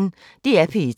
DR P1